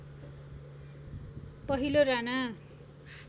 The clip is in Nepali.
पहिलो राणा